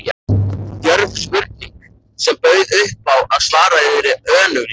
Djörf spurning, sem bauð upp á að svarað yrði önuglega.